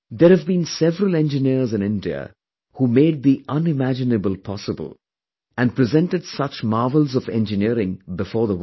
There have been several engineers in India who made the unimaginable possible and presented such marvels of engineering before the world